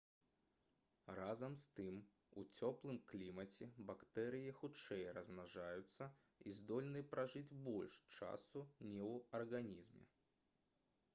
разам з тым у цёплым клімаце бактэрыі хутчэй размнажаюцца і здольны пражыць больш часу не ў арганізме